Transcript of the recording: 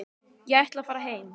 Ég ætla að fara heim.